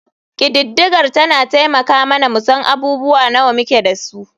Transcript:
Ƙididdigar tana taimaka mana mu san abubuwa nawa muke da su.